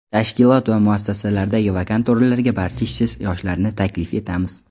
tashkilot va muassasalaridagi vakant o‘rinlarga barcha ishsiz yoshlarni taklif etamiz.